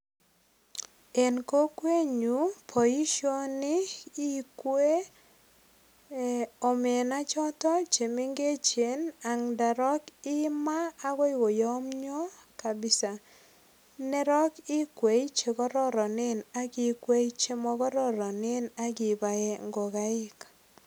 En kokwenyu boisioni ikwei ee omena choto mengechen ak ndorok imaa agoi koyomyo kapisa. Ndorok ikwei chekororonen ak ikwei chemokororonen ak ibae ngogaik.